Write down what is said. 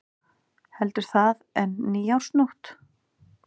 Heldur það en nýársnótt.